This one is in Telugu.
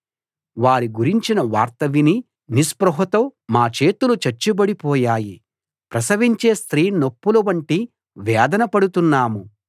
వారి గురించిన వార్త విని నిస్పృహతో మా చేతులు చచ్చుబడి పోయాయి ప్రసవించే స్త్రీ నొప్పుల వంటి వేదన పడుతున్నాము